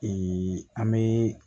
an bɛ